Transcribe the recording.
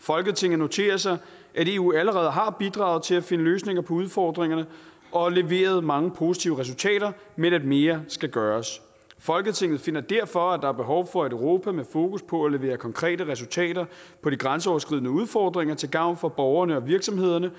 folketinget noterer sig at eu allerede har bidraget til at finde løsninger på udfordringerne og leveret mange positive resultater men at mere skal gøres folketinget finder derfor at der er behov for et europa med fokus på at levere konkrete resultater på de grænseoverskridende udfordringer til gavn for borgerne og virksomhederne